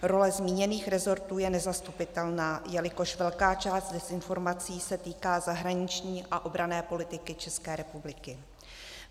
Role zmíněných resortů je nezastupitelná, jelikož velká část dezinformací se týká zahraniční a obranné politiky České republiky.